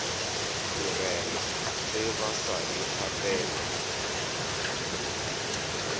morena ge ba sa ikgapele